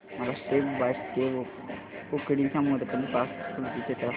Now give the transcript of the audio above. मला step by step उकडीच्या मोदकांची पाककृती चित्रांसह सांग